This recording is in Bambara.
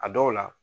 A dɔw la